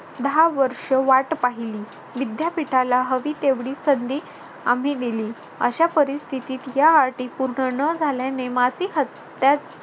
दहा वर्षे वाट पाहिली विद्यापीठाला हवी तेवढी संधी आम्ही दिली. अशा परिस्थितीत या अटी पूर्ण न झाल्याने माती